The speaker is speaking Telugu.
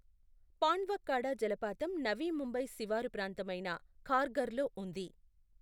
పాండవ్కడా జలపాతం నవీ ముంబై శివారు ప్రాంతమైన ఖార్ఘర్లో ఉంది.